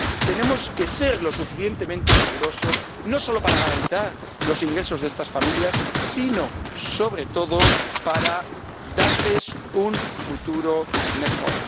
Tenemos que ser lo suficientemente rigurosos, no solo para garantizar los ingresos de estas familias, sino sobre todo, para darles un futuro mejor.